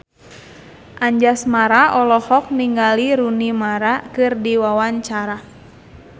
Anjasmara olohok ningali Rooney Mara keur diwawancara